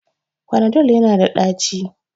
Panadol yana da daci